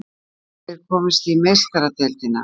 Geta þeir komist í Meistaradeildina?